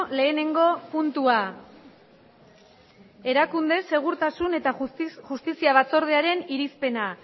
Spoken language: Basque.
lehenengo puntua erakunde segurtasun eta justizia batzordearen irizpena